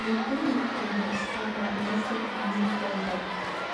мүмкін өйткені ұшқандарына тек минут болды